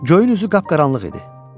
Gölün üzü qapqaranlıq idi.